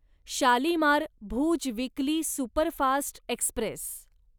Shalimar Bhuj weekly superfast Express